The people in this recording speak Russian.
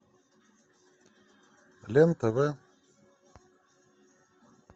лен тв